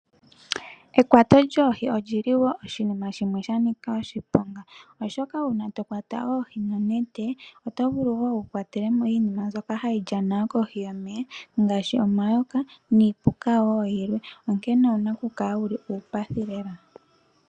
Ekwato lyoohi olyi li wo oshinima shimwe sha nika oshiponga oshoka uuna tokwata oohi nonete oto vulu wo wu kwatelemo iinima mbyoka hayi lyana yo kohi yomeya ngaashi omayoka niipuka wo yilwe onkene owu na okukala wu li uupathi lela.